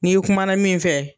N'i kumana min fɛ.